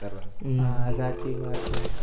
હા સાચી વાત છે